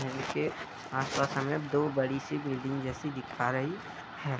महल के आस-पास हमें दो बड़ी सी बिल्डिंग जैसी दिखा रही है |